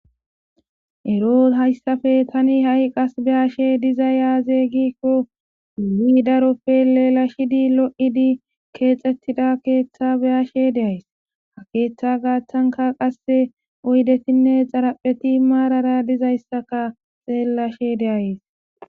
ero hayssafe tani ha7i qas beyashe diza yaaze giikko ulidaroppe leela shidi lo7idi keexettida keeththa beyashe deays ha keeththa gaaththanka qasse oydetinne xarapheti maarara dizayssaka xeellashe deayes